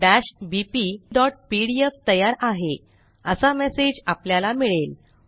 maths bpपीडीएफ तयार आहे असा मेसेज आपल्याला मिळेल